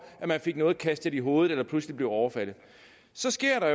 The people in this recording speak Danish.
man fik noget kastet i hovedet eller pludselig blev overfaldet så sker der